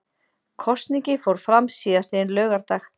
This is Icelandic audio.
Kosningin fór fram síðastliðinn laugardag